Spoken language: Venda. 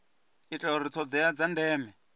itela uri thodea dza ndeme